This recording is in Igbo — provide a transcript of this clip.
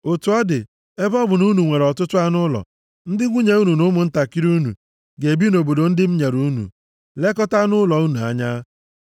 Otu ọ dị, ebe ọ bụ na unu nwere ọtụtụ anụ ụlọ, ndị nwunye unu na ụmụntakịrị unu ga-ebi nʼobodo ndị m nyere unu, lekọtaa anụ ụlọ unu anya,